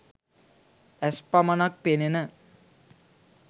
ඇස් පමණක් පෙනෙන